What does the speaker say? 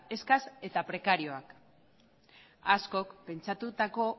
eskas eta prekarioak askok pentsatutako